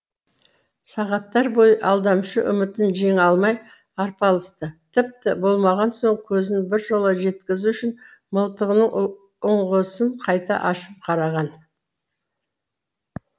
сағаттар бойы алдамшы үмітін жеңе алмай арпалысты тіпті болмаған соң көзін біржола жеткізу үшін мылтығының ұңғысын қайта ашып қараған